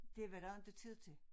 Det var der inte tid til